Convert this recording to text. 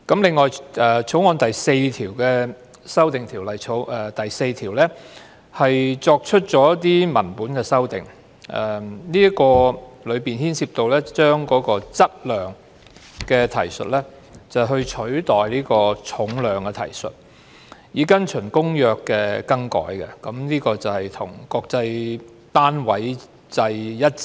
此外，《條例草案》第4條的修訂，是作出一些文本修訂，當中牽涉以對"質量"的提述，取代對"重量"的提述，以跟從《公約》的更改，這種做法是要與國際單位制一致。